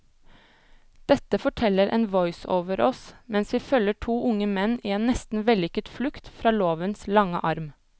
Dette forteller en voiceover oss mens vi følger to unge menn i en nesten vellykket flukt fra lovens lange arm.